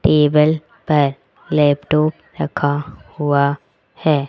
Table पर laptop रखा हुआ है।